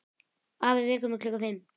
Afi vekur mig klukkan fimm.